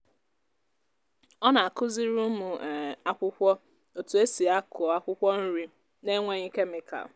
ọ na-akụziri ụmụ um akwụkwọ otú e si akụọ akwukwo nri n’enweghị kemịkal